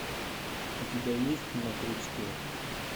у тебя есть на крючке